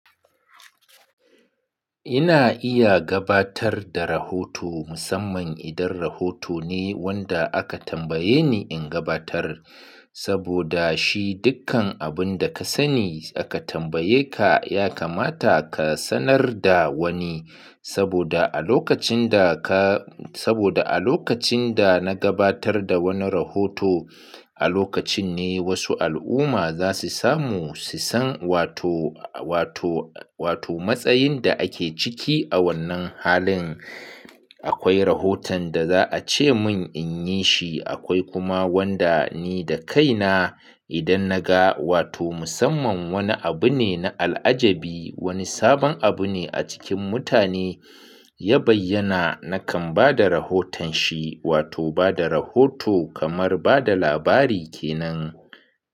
Ina iya gabatar da rahoto musamman idan rahoto ne wanda aka tambaye ni in gabatar. Saboda shi dukkan abun da ka sani aka tambaye ka, ya kamata ka sanar da wani. Saboda a lokacin da ka, saboda a lokacin da na gabatar da wani rahoto, a lokacin ne wasu al'umma za su samu su san wato, wato, wato matsayin da ake ciki a wannan halin. Akwai rahoton da za a ce mun in yi shi, akwai kuma wanda ni da kaina idan na ga wato musamman wani abu ne na al'ajabi, wani sabon abu ne a cikin mutane, ya bayyana nakan ba da rahoton shi wato ba da rahoto kamar ba da labari ke nan.